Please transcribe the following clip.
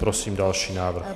Prosím další návrh.